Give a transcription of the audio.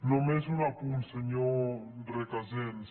només un apunt senyor recasens